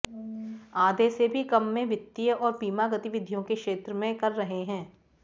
आधे से भी कम में वित्तीय और बीमा गतिविधियों के क्षेत्र में कर रहे हैं